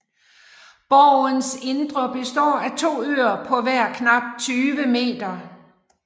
Borgens indre består af to øer på hver knap 20 m